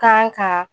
Kan ka